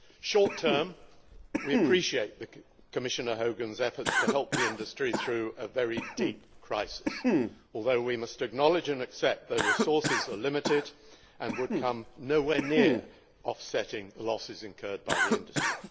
Short term we appreciate Commissioner Hogan's efforts to help the industry through a very deep crisis, although we must acknowledge and accept their resources are limited, and would come nowhere near offsetting the losses incurred by the industry.